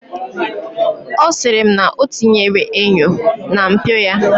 Ọ sịrị m na ọ tinyere enyo na mpio ya.